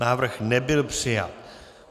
Návrh nebyl přijat.